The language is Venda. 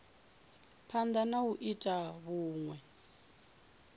phanda na u ita vhunwe